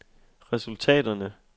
resultaterne